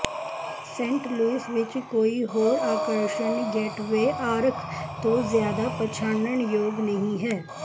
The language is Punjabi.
ਸੇਂਟ ਲੁਈਸ ਵਿੱਚ ਕੋਈ ਹੋਰ ਆਕਰਸ਼ਣ ਗੇਟਵੇ ਆਰਕ ਤੋਂ ਜਿਆਦਾ ਪਛਾਣਨਯੋਗ ਨਹੀਂ ਹੈ